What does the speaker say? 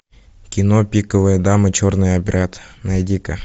кино пиковая дама черный обряд найди ка